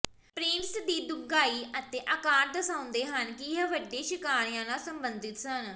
prints ਦੀ ਡੂੰਘਾਈ ਅਤੇ ਆਕਾਰ ਦਰਸਾਉਂਦੇ ਹਨ ਕਿ ਇਹ ਵੱਡੇ ਸ਼ਿਕਾਰੀਆਂ ਨਾਲ ਸੰਬੰਧਿਤ ਸਨ